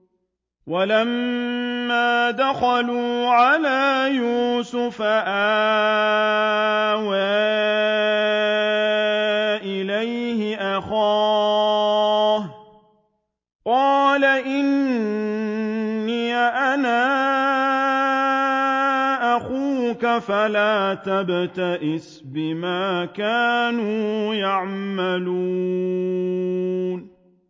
وَلَمَّا دَخَلُوا عَلَىٰ يُوسُفَ آوَىٰ إِلَيْهِ أَخَاهُ ۖ قَالَ إِنِّي أَنَا أَخُوكَ فَلَا تَبْتَئِسْ بِمَا كَانُوا يَعْمَلُونَ